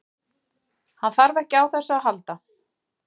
Hann þarf ekki á þessu að halda.